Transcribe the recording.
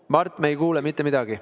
Mart, me ei kuule mitte midagi.